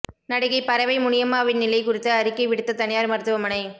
நடிகை பரவை முனியம்மாவின் நிலை குறித்து அறிக்கை விடுத்த தனியார் மருத்துவமனை